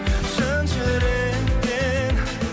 шын жүректен